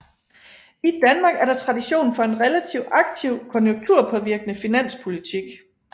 I Danmark er der tradition for en relativt aktiv konjunkturpåvirkende finanspolitik